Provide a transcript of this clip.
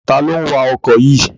Ta ló ń wa ọkọ̀ yìí?